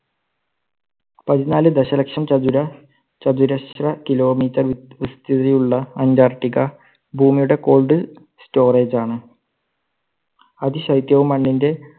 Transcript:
പതിനാല് ദശലക്ഷം ചതുര, ചതുരശ്ര kilometer വി~വിസ്തൃതി ഉള്ള അന്റാർട്ടിക്ക ഭൂമിയുടെ cold storage ആണ്. അതി ശൈത്യവും മണ്ണിന്റെ